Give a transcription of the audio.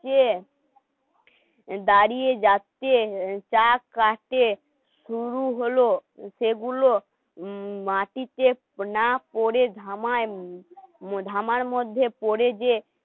দাঁড়িয়ে যাচ্ছে চা খাচ্ছে শুরু হল সেগুলো মাটিতে না পড়ে ধামায় ধামার মধ্যে পড়ে যে